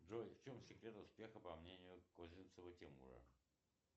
джой в чем секрет успеха по мнению козинцева тимура